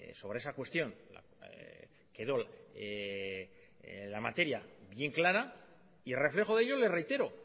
sobre esa cuestión quedó la materia bien clara y reflejo de ello le reitero